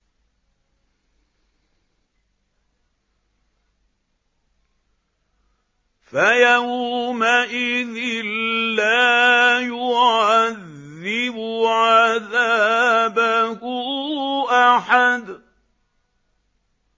فَيَوْمَئِذٍ لَّا يُعَذِّبُ عَذَابَهُ أَحَدٌ